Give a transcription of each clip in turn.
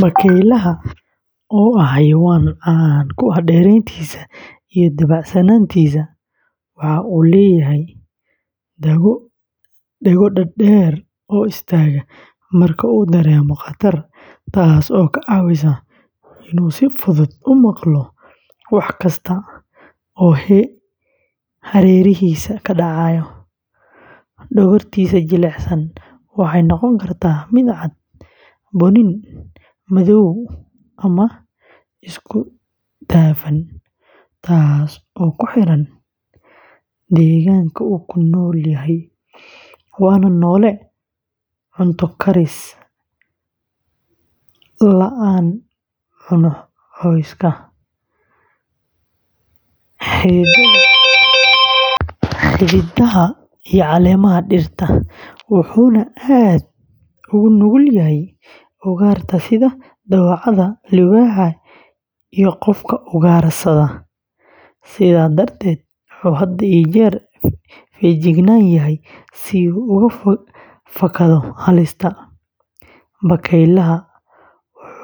Bakeeylaha, oo ah xayawaan caan ku ah dheereeyntiisa iyo dabacsanaantiisa, waxa uu leeyahay dhago dhaadheer oo istaagta marka uu dareemo khatar, taas oo ka caawisa in uu si fudud u maqlo wax kasta oo hareerihiisa ka dhacaya; dhogortiisa jilicsan waxay noqon kartaa mid cad, bunni, madow ama isku dhafan, taas oo ku xiran deegaanka uu ku nool yahay, waana noole cunto-karis la’aan cuna cawska, xididada iyo caleemaha dhirta, wuxuuna aad ugu nugul yahay ugaarta sida dawacada, libaaxa iyo qofka ugaarsada, sidaa darteed wuxuu had iyo jeer feejigan yahay si uu uga fakado halista; bakeeylaha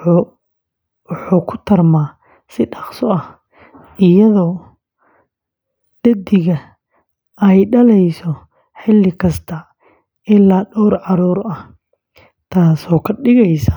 wuxuu ku tarmaa si dhakhso leh, iyadoo dhaddigta ay dhalayso xilli kasta ilaa dhowr caruur ah, taasoo ka dhigaysa.